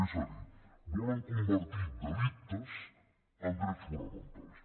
és a dir volen convertir delictes en drets fonamentals